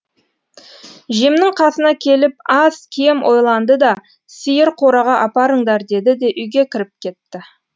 жемнің қасына келіп аз кем ойланды да сиыр қораға апарыңдар деді де үйге кіріп кетті